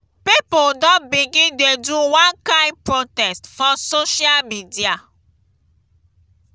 pipo don begin dey do one kain protest for social media.